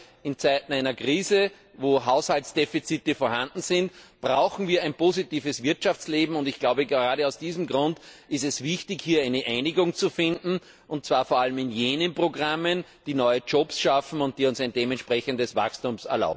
Gerade in Zeiten einer Krise, wenn Haushaltsdefizite vorhanden sind, brauchen wir ein positives Wirtschaftsleben, und gerade aus diesem Grund ist es wichtig, hier eine Einigung zu finden, und zwar vor allem bei jenen Programmen, die neue Jobs schaffen und uns ein entsprechendes Wachstum